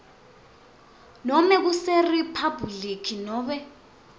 nobe kuseriphabhuliki nobe